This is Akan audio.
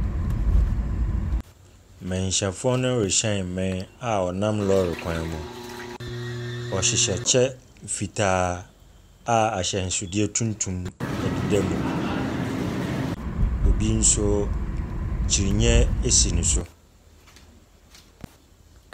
Manhyiafoɔ no rehyɛn mmɛn a wɔnam lɔre kwan mu. Wɔhyehyɛ kyɛ mfitaa a ahyɛnsodeɛ tuntum deda mu. Obi nso kyiniiɛ si ne so.